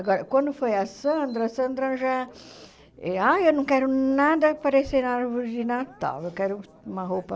Agora, quando foi a Sandra, a Sandra já... Ah, eu não quero nada parecendo árvore de Natal, eu quero uma roupa...